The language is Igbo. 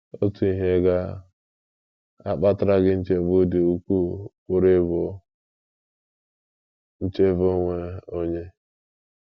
Otu ihe ga - akpatara gị nchegbu dị ukwuu pụrụ ịbụ nchebe onwe onye.